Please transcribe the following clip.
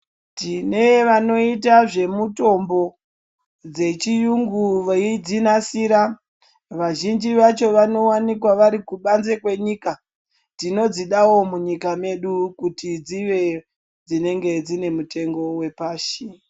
Tine vanoita zvemutombo dzechiyungu veidzinasira. Vazhinji vacho vanowanikwa vari kubanze kwenyika. Tinodzidawo munyika medu kuti dzive dzinenge dzine mitengo wepashi.